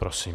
Prosím.